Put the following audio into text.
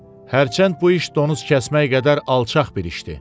Hərçənd bu iş donuz kəsmək qədər alçaq bir işdir.